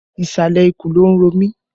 Ìsàlẹ̀ ikùn ló ń ro mi